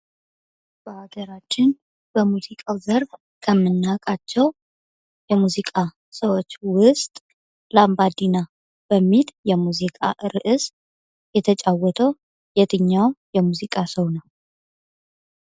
በአገራችን በሙዚቃው ዘርፍ ከምናውቃቸው የሙዚቃ ሰዎች ውስጥ ላምባዲና በሚል የሙዚቃ ርዕስ የተጫወተው የትኛው የሙዚቃው ሰው ነው።